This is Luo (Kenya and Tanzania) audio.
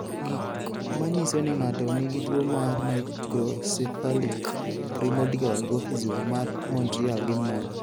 Gik manyiso ni ng'ato nigi tuwo mar Microcephalic primordial dwarfism, mar Montreal gin mage?